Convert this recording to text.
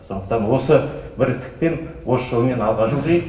сондықтан осы бірлікпен осы жолмен алға жылжиық